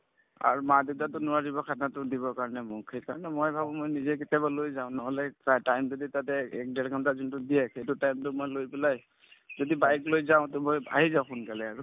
আৰু মা-দেউতাইতো নোৱাৰিব khana তো দিবৰ কাৰণে মোক সেইকাৰণে মই ভাবো মই নিজে কেতিয়াবা লৈ যাওঁ নহলে time যদি তাতে এ এক ডেৰ ঘণ্টা যোনটো দিয়ে সেইটো time তো মই লৈ পেলাই যদি bike লৈ যাওঁ to মই আহি যাওঁ সোনকালে আৰু